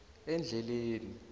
endleleni